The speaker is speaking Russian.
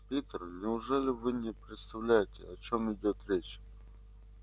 питер неужели вы не представляете о чём идёт речь